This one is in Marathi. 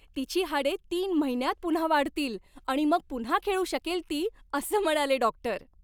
तिची हाडे तीन महिन्यांत पुन्हा वाढतील आणि मग पुन्हा खेळू शकेल ती असं म्हणाले डॉक्टर.